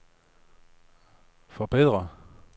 forbedre